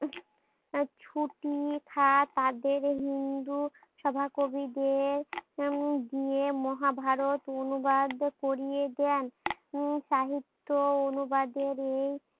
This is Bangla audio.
ছুটি খা তাদের হিন্দু সভা কবিদের উম মহাভারত অনুবাদ করিয়ে দেন উম সাহিত্য অনুবাদের এই